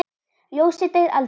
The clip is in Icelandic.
Ljósið deyr aldrei.